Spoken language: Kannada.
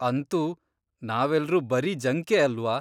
ಅಂತೂ ನಾವೆಲ್ರೂ ಬರೀ ಜಂಕೇ ಅಲ್ವ?